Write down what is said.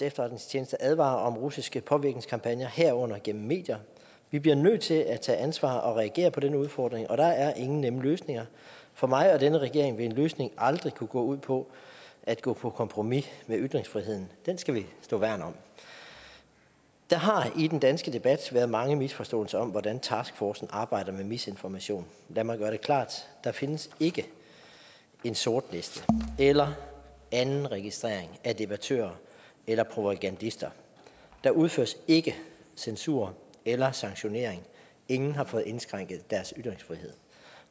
efterretningstjeneste advarer om russiske påvirkningskampagner herunder gennem medier vi bliver nødt til at tage ansvar og reagere på denne udfordring og der er ingen nemme løsninger for mig og denne regering vil en løsning aldrig kunne gå ud på at gå på kompromis med ytringsfriheden den skal vi værne om der har i den danske debat været mange misforståelser om hvordan taskforcen arbejder med misinformation lad mig gøre det klart der findes ikke en sortliste eller anden registrering af debattører eller propagandister der udføres ikke censur eller sanktionering ingen har fået indskrænket deres ytringsfrihed